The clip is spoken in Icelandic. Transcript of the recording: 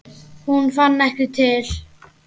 Hún fann ekki til.